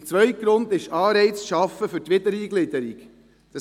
Der zweite Grund ist, Anreize für die Wiedereingliederung zu schaffen.